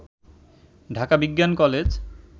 ঢাকা বিজ্ঞান কলেজ